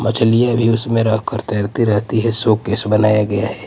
मछलियां भी उसमें रहकर तैरती रहती है शो केस बनाया गया है.